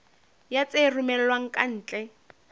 ya tse romellwang ka ntle